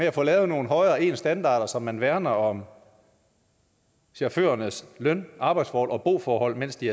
at få lavet nogle højere ens standarder så man værner om chaufførernes løn arbejds og boforhold mens de